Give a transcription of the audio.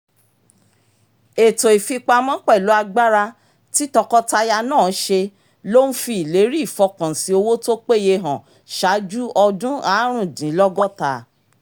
ètò ìfipamọ́ pẹ̀lú agbára tí tọkọtaya náà ṣe ló ń fi ìlérí ìfọkànsìn owó tó péye hàn ṣáájú ọdún aarundinlogota